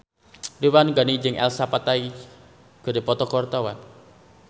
Ridwan Ghani jeung Elsa Pataky keur dipoto ku wartawan